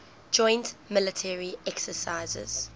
joint military exercises